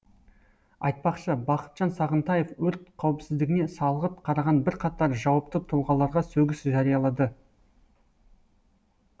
айтпақшы бақытжан сағынтаев өрт қауіпсіздігіне салғырт қараған бірқатар жауапты тұлғаларға сөгіс жариялады